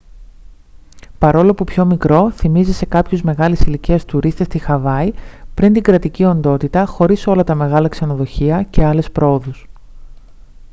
παρόλο που πιο μικρό θυμίζει σε κάποιους μεγάλης ηλικίας τουρίστες τη χαβάη πριν την κρατική οντότητα χωρίς όλα τα μεγάλα ξενοδοχεία και άλλες προόδους